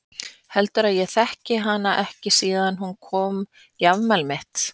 Heldurðu að ég þekki hana ekki síðan hún kom í afmælið mitt?